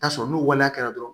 Taa sɔrɔ n'u waleya kɛra dɔrɔn